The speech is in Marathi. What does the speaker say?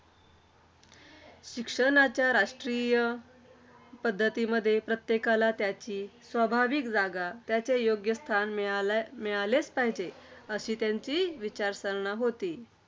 शिक्षणाच्या राष्ट्रीय पद्धतीमध्ये प्रत्येकाला त्याची, त्याची स्वाभाविक जागा, त्याचे योग्य स्थान मिळाले मिळालेच पाहिजे, अशी त्यांची विचारसरणा होती.